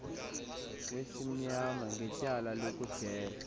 kwesimnyama ngetyala lokudela